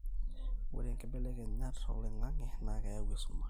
ore inkibelekenyat oloing'ang'e naa keyau esumash